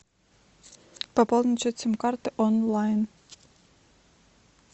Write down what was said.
пополнить счет сим карты онлайн